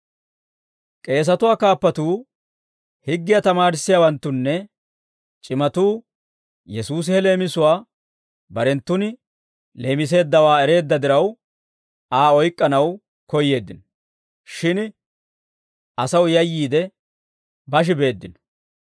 K'eesatuwaa kaappatuu, higgiyaa tamaarissiyaawanttunne c'imatuu Yesuusi he leemisuwaa barenttun leemiseeddawaa ereedda diraw, Aa oyk'k'anaw koyyeeddino; shin asaw yayyiide, bashi beeddino.